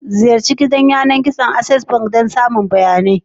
Ziyarci gidan yanar gizon Access Bank don samun sabbin bayanai.